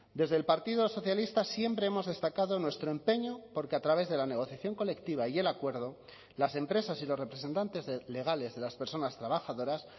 desde el partido socialista siempre hemos destacado nuestro empeño porque a través de la negociación colectiva y el acuerdo las empresas y los representantes legales de las personas trabajadoras